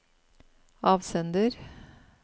avsender